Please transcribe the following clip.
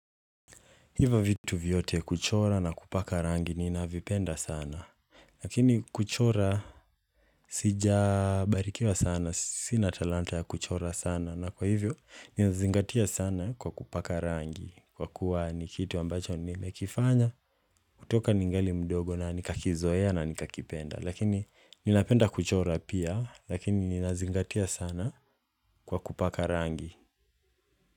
Hivo vitu vyote kuchora na kupaka rangi ninavipenda sana. Lakini kuchora sijabarikiwa sana. Sina talanta ya kuchora sana. Na kwa hivyo ninazingatia sana kwa kupaka rangi. Kwa kuwa ni kitu ambacho nimekifanya kutoka ningali mdogo na nikakizoea na nikakipenda. Lakini ninapenda kuchora pia. Lakini ninazingatia sana kwa kupaka rangi.